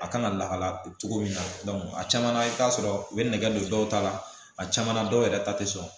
A kan ka lakala cogo min na a caman na i bɛ t'a sɔrɔ u bɛ nɛgɛ don dɔw ta la a caman na dɔw yɛrɛ ta tɛ sɔn